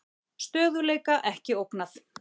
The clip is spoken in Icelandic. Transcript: Stöðugleika ekki ógnað